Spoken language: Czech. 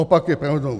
Opak je pravdou!